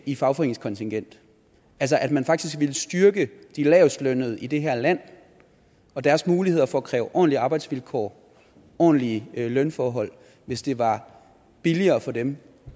i fagforeningskontingent altså at man faktisk ville styrke de lavestlønnede i det her land og deres muligheder for at kræve ordentlige arbejdsvilkår og ordentlige lønforhold hvis det var billigere for dem